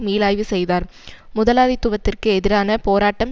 மீளாய்வு செய்தார் முதலாளித்துவத்திற்கு எதிரான போராட்டம்